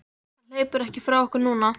Hann hleypur ekki frá okkur núna.